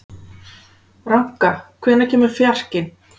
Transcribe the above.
Ranka, hvenær kemur fjarkinn?